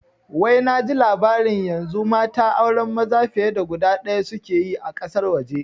Wai naji labari yanzu mata auren maza fiye da guda ɗaya suke yi a ƙasar waje